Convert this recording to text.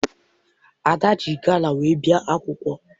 Ada ji gala wee bịa akwụkwọ.